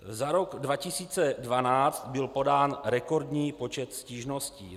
Za rok 2012 byl podán rekordní počet stížností.